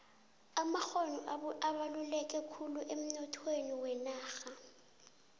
amakgono abaluleke khulu emnoyhweni wenarha